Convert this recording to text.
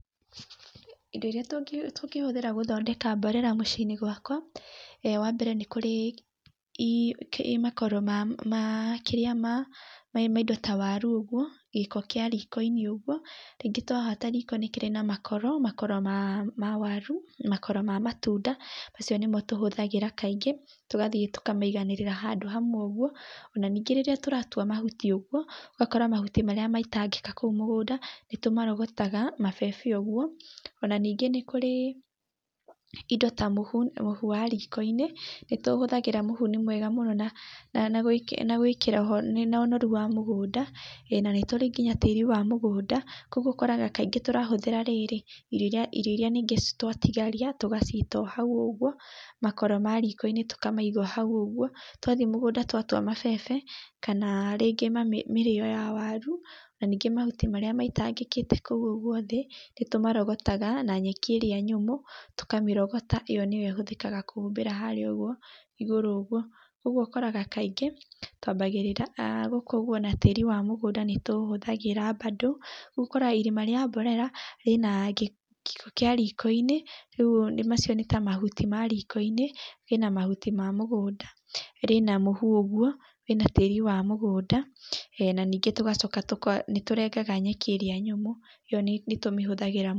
Indo irĩa tũngĩhũthĩra gũthondeka mborera mũciĩ-inĩ gwaka, wa mbere nĩ kũrĩ makoro ma ma kĩrĩa ma ma indo ta waru ũguo, gĩko kĩa riko-inĩ ũguo. Rĩngĩ twahata riko rĩkĩrĩ na makoro, makoro ma waru, makoro ma matunda, macio nĩmo tũhũthagĩra kaingĩ, tũgathiĩ tũkamaiganĩrĩra handũ hamwe ũguo. Ona ningĩ rĩrĩa tũratua mahuti ũguo, ũgakora mahuti marĩa maitangĩka kũu mũgũnda, nĩ tũmarogotaga, mabebe ũguo. Ona ningĩ nĩ kũrĩ indo ta mũhu, mũhu wa riko-inĩ, nĩ tũhũthagĩra mũhu nĩ mwega mũno na na na gwĩkĩra ho na ũnoru wa mũgũnda, ĩĩ na nĩ tũrĩ nginya tĩĩri wa mũgũnda. Koguo ũkoraga kaingĩ tũrahũthĩra rĩrĩ, irio irĩa irio irĩa ningĩ twatigaria tũgaciita o hau ũguo, makoro ma riko-inĩ tũkamaiga o hau ũguo. Twathi mũgũnda tũatua mabebe, kana rĩngĩ ma mĩrĩo ya waru, na ningĩ mahuti marĩa maitangĩkĩte kũu ũguo thĩ, nĩ tũmarogotaga na nyeki ĩrĩa nyũmũ, tũkamĩrogota yo nĩyo ĩhũthĩka kũhumbĩra harĩa ũguo igũrũ ũguo. Ũguo ũkoraga kaingĩ, twambagĩrĩra gũkũ ũguo na tĩĩri wa mũgũnda nĩ tũ ũhũthagĩra bando. Ũkoraga irima rĩa mborera, rĩna gĩko kĩa riko-inĩ, rĩu macio nĩ ta mahuti ma riko-inĩ, rĩna mahuti ma mũgũnda, rĩna mũhu ũguo, wĩna tĩĩri wa mũgũnda, na ningĩ tũgacoka nĩ tũrengaga nyeki ĩrĩa nyũmũ, ĩyo nĩ tũmĩhũthagĩra.